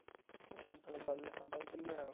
ଥରେ ଗଲେ ହେବ ଦିନେ।